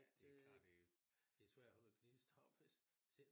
Det klart det det svært at holde en gnist oppe